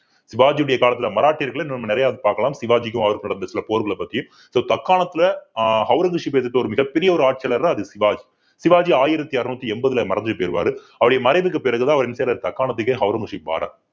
சிவாஜியுடைய காலத்துல மராட்டியர்களை நம்ம நிறைய பார்க்கலாம் சிவாஜிக்கும் அவருக்கும் நடந்த சில போர்களை பத்தி so தக்காணத்துல ஆஹ் ஔரங்கசீப் எதிர்த்த ஒரு மிகப் பெரிய ஒரு ஆட்சியாளருன்னா அது சிவாஜி சிவாஜி ஆயிரத்தி அறுநூத்தி எண்பதுல மறைஞ்சு போயிருவாரு அவருடைய மறைவுக்கு பிறகுதான் அவர் என்ன செய்யிறாரு தக்காணத்திகே ஔரங்கசீப் ஆகுறார்